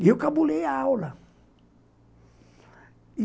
E eu cabulei a aula.